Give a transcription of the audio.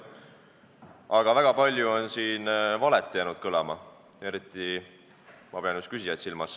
Aga väga palju on jäänud kõlama valet, eriti pean ma silmas just küsijaid.